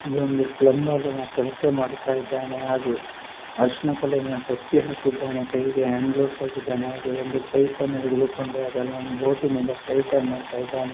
ಇದೊಂದು ಪ್ಲಬರ್ ಕೆಲಸ ಮಾಡತ್ತ ಇದ್ದಾನೆ ಹಾಗು ಅರ್ಶನ ಕಲರಿನ ಟೊಪ್ಪಿ ಹಾಕಿದ್ದಾನೆ ಕೈಗೆ ಹ್ಯಾಂಡ್ ಗ್ಲೋಸ್ ಹಾಕಿದ್ದಾನೆ ಹಾಗೆ ಒಂದು ಪೈಪ್ ಅನ್ನು ಹಿಡಿದುಕೊಂಡು ಅದನ್ನು ಬೋಟಿ ನಿಂದ ಟೈಟ್ ಮಾಡತ್ತ ಇದ್ದಾನೆ.